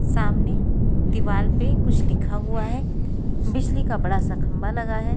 सामने दीवार पे कुछ लिखा हुआ है बिजली का बड़ा सा खंभा लगा है।